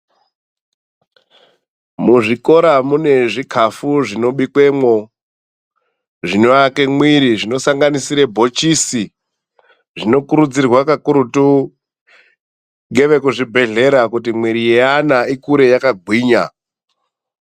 Muzvikora mune zvikafu zvinobikwemo, zvinoake mwiiri, zvinosanganisire bhochisi. Zvinokurudzirwa kakurutu ngevekuzvibhedhlera kuti mwiiri yeana ikure yakagwinya.